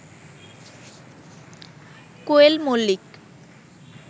Koel Mallick